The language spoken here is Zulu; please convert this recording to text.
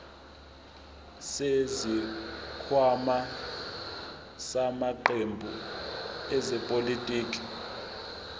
zesikhwama samaqembu ezepolitiki